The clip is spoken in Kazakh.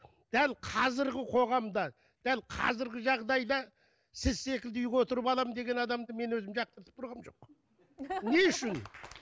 дәл қазіргі қоғамда дәл қазіргі жағдайда сіз секілді үйге отырып аламын деген адамды мен өзім жақтыртып тұрғаным жоқ не үшін